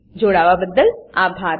અમને જોડાવાબદ્દલ આભાર